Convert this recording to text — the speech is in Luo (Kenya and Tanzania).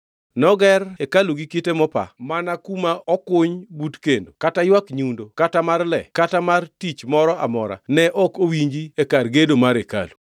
Noger hekalu gi kite mopa mana kuma okuny but kendo kata ywak nyundo kata mar le kata mar gir tich moro amora ne ok owinji e kar gedo mar hekalu.